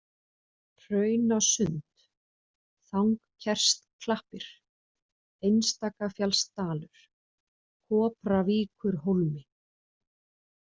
Hraunasund, Þangkersklappir, Einstakafjallsdalur, Kopravíkurhólmi